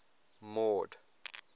mord